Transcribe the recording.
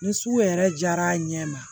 Ni sugu yɛrɛ jara a ɲɛ ma